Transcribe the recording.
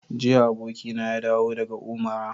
Jiya abokina ya dawo daga Umara.